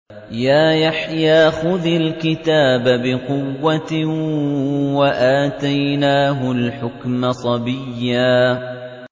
يَا يَحْيَىٰ خُذِ الْكِتَابَ بِقُوَّةٍ ۖ وَآتَيْنَاهُ الْحُكْمَ صَبِيًّا